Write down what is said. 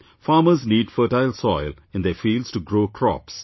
Farmers need fertile soil in their fields to grow crops